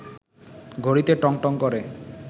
ঘড়িতে টং টং করে